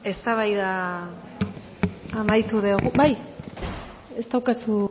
eztabaida amaitu dugu bai ez daukazu